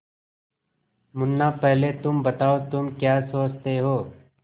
मुन्ना पहले तुम बताओ तुम क्या सोचते हो